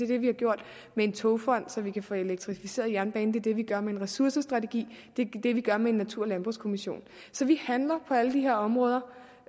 det vi har gjort med en togfond så vi kan få elektrificeret jernbanen det det vi gør med en ressourcestrategi det er det vi gør med en natur og landbrugskommission så vi handler på alle de her områder